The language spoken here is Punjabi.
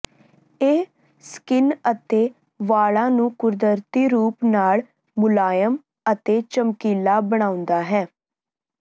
ਇਹ ਸਕਿਨ ਅਤੇ ਵਾਲਾਂ ਨੂੰ ਕੁਦਰਤੀ ਰੂਪ ਨਾਲ ਮੁਲਾਇਮ ਅਤੇ ਚਮਕੀਲਾ ਬਣਾਉਂਦਾ ਹੈ